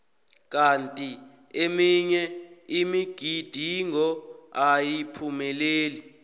kanti eminye imigidingo ayiphumeleli